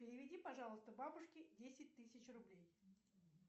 переведи пожалуйста бабушке десять тысяч рублей